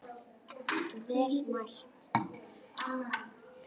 Vel mælt.